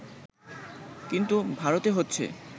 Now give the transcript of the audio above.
কিন্তু ভারতে হচ্ছে